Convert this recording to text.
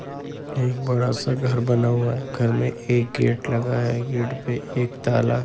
एक बड़ा-सा घर बना हुआ है घर मे एक गेट लगा है गेट पे एक ताला --